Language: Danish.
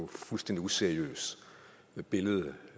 fuldstændig useriøst billede